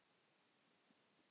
Frænku þína?